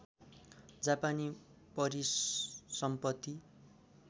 जापानी परिसम्पत्ति